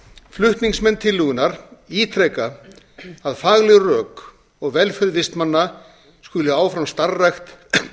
flutningsmenn tillögunnar ítreka að fagleg rök og velferð vistmanna skuli áfram starfrækt